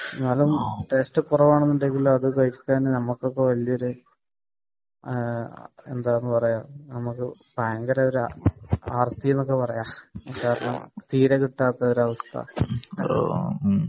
എന്നാലും ടേസ്റ്റ് ഒക്കെ കുറവാണെങ്കിലും നമ്മക്ക് അതൊക്കെ കഴിക്കുക എന്ന് പറയുന്നത് എന്താ ഒരു ഭയങ്കര ഒരു ആർത്തി എന്നൊക്കെ പറയാ . തീരെ കിട്ടാത്ത ഒരവസ്‌ഥ